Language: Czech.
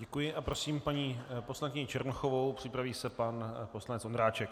Děkuji a prosím paní poslankyni Černochovou, připraví se pan poslanec Ondráček.